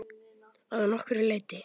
Að nokkru leyti.